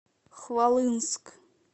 хвалынск